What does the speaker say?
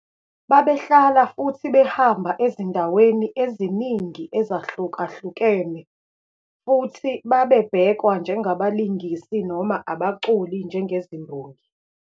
Babehlala futhi behamba ezindaweni eziningi ezahlukahlukene futhi babebhekwa njengabalingisi noma abaculi njengezimbongi.